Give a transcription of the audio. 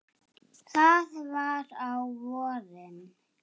Það var á vorin.